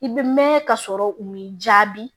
I bɛ mɛn ka sɔrɔ u m'i jaabi